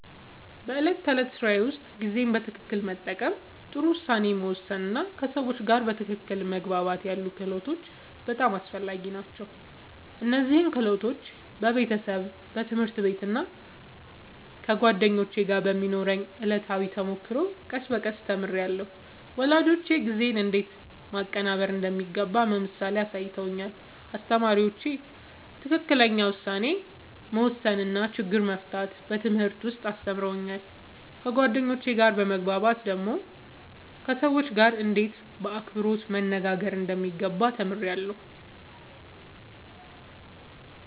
በዕለት ተዕለት ሥራዬ ውስጥ ጊዜን በትክክል መጠቀም፣ ጥሩ ውሳኔ መወሰን እና ከሰዎች ጋር በትክክል መግባባት ያሉ ክህሎቶች በጣም አስፈላጊ ናቸው። እነዚህን ክህሎቶች በቤተሰብ፣ በትምህርት ቤት እና ከጓደኞች ጋር በሚኖረው ዕለታዊ ተሞክሮ ቀስ በቀስ ተምሬያለሁ። ወላጆቼ ጊዜን እንዴት ማቀናበር እንደሚገባ በምሳሌ አሳይተውኛል፣ አስተማሪዎቼም ትክክለኛ ውሳኔ መወሰን እና ችግር መፍታት በትምህርት ውስጥ አስተምረውኛል። ከጓደኞቼ ጋር በመግባባት ደግሞ ከሰዎች ጋርእንዴት በአክብሮት መነጋገር እንደሚገባ ተምሬያለሁ።